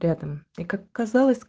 рядом